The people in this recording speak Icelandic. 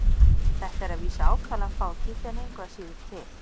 Þetta er að vísu ákaflega fátítt en engu að síður til.